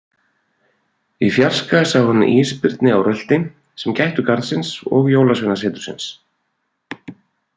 Í fjarska sá hann ísbirni á rölti sem gættu garðsins og Jólasveinasetursins.